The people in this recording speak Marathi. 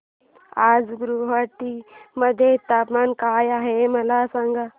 आज गुवाहाटी मध्ये तापमान काय आहे मला सांगा